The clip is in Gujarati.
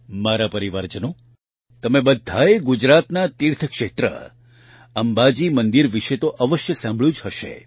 મારા પરિવારજનો તમે બધાએ ગુજરાતના તીર્થક્ષેત્ર અંબાજી મંદિર વિશે તો અવશ્ય સાંભળ્યું જ હશે